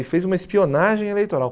Ele fez uma espionagem eleitoral.